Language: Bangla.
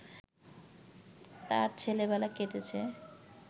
তার ছেলেবেলা কেটেছে